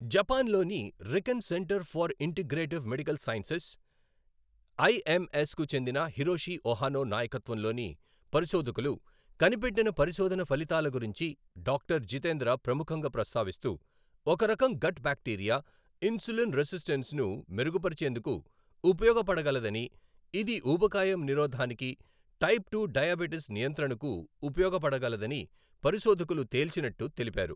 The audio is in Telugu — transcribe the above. జపాన్ లోని Riken centre for integrative medical sciences, IMS కు చెందిన హిరోషి ఒహనో నాయకత్వంలోని పరిశోధకులు కనిపెట్టిన పరిశొధన ఫలితాల గురించి డాక్టర్ జితేంద్ర ప్రముఖంగా ప్రస్తావిస్తూ, ఒక రకం గట్ బాక్టీరియా, ఇన్సులిన్ రెసిస్టెన్స్ను మెరుగుపరిచేందుకు ఉపయోగపడగలదని, ఇది ఊబకాయం నిరోధానికి, టైప్ టు డయాబిటిస్ నియంత్రణకు ఉపయోగపడగలదని పరిశోధకులు తేల్చినట్టు తెలిపారు.